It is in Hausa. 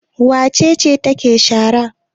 Wace ce take shara?